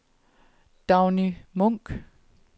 Dagny Munch